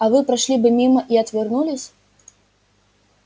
а вы прошли бы мимо и отвернулись